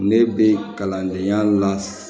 Ne bɛ kalandenya la